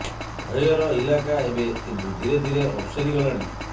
ଭୟର ଇଲାକା ଏବେ କିନ୍ତୁ ଧୀରେ ଧୀର ଅପସରି ଗଲାଣି